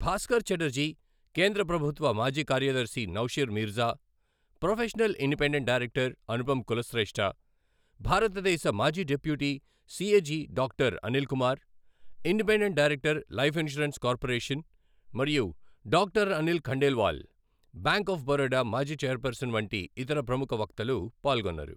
భాస్కర్ ఛటర్జీ, కేంద్ర ప్రభుత్వ మాజీ కార్యదర్శి Naushir Mirza, professional independent director Anupam Kulshreshtha, భారతదేశ మాజీ deputy CAG doctor Anil Kumar, independent director, life insurance corporation మరియు doctor Anil Khandelwal, bank of Baroda మాజీ చైర్పర్సన్ వంటి ఇతర ప్రముఖ వక్తలు పాల్గొన్నారు.